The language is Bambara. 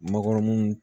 Makɔrɔniw